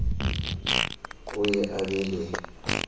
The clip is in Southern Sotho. o ye a be le